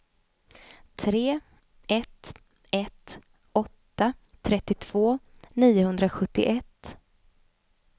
tre ett ett åtta trettiotvå niohundrasjuttioett